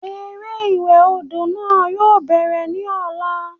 Eré ìwẹ̀ odò náà yóò bẹ̀rẹ̀ ní ọ̀la